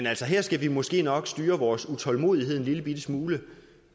altså her skal vi måske nok styre vores utålmodighed en lillebitte smule